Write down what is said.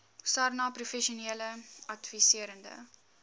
sarnap professionele adviserende